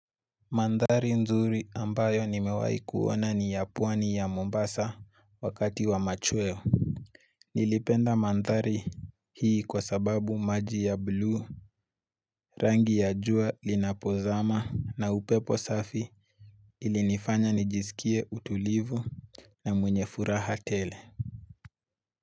Mandhari nzuri ambayo nimewai kuona ni ya pwani ya Mombasa wakati wa machweo Nilipenda mandhari hii kwa sababu maji ya bluu rangi ya jua linapozama na upepo safi ilinifanya nijisikie utulivu na mwenye furaha tele.